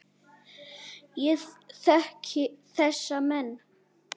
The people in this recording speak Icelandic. Ég þekki þessa menn.